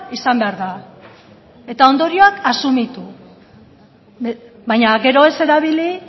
izan behar da eta ondorioak asumitu baina gero ez erabili